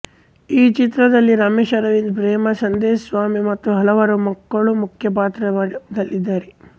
ಈ ಚಿತ್ರದಲ್ಲಿ ರಮೇಶ್ ಅರವಿಂದ್ ಪ್ರೇಮಾ ಸಂದೇಶ್ ಸ್ವಾಮಿ ಮತ್ತು ಹಲವಾರು ಮಕ್ಕಳು ಮುಖ್ಯ ಪಾತ್ರದಲ್ಲಿದ್ದಾರೆ